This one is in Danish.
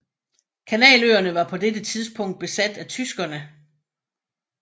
Kanaløerne var på dette tidspukt besat af tyskerne